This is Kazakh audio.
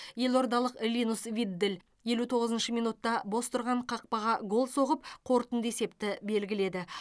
елордалық линус виддель елу тоғызыншы минутта бос тұрған қақпаға гол соғып қорытынды есепті белгіледі